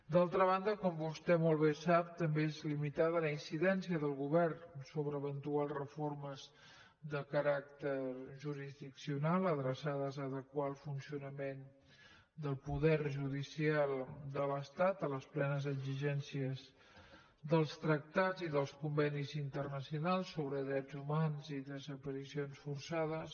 d’altra banda com vostè molt bé sap també és limitada la incidència del govern sobre eventuals reformes de caràcter jurisdiccional adreçades a adequar el funcionament del poder judicial de l’estat a les plenes exigències dels tractats i dels convenis internacionals sobre drets humans i desaparicions forçades